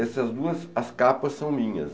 Essas duas, as capas são minhas.